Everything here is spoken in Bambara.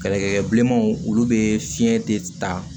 Kɛlɛkɛ bilenmanw olu bɛ fiɲɛ de ta